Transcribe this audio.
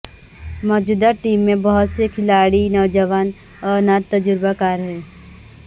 موجودہ ٹیم میں بہت سے کھلاڑی نوجوان اور ناتجربہ کار ہیں